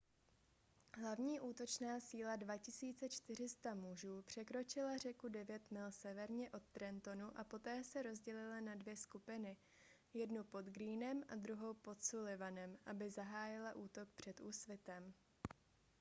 hlavní útočná síla 2 400 mužů překročila řeku devět mil severně od trentonu a poté se rozdělila na dvě skupiny jednu pod greenem a druhou pod sullivanem aby zahájila útok před úsvitem